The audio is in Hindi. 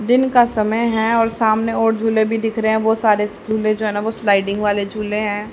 दिन का समय है और सामने और झूले भी दिख रहे हैं बहुत सारे झूले जो हैं ना वो स्लाइडिंग वाले झूले हैं।